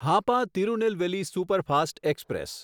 Hapa Tirunelveli superfast express